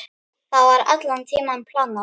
Það var allan tímann planið.